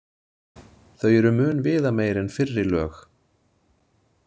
Þau eru mun viðameiri en fyrri lög.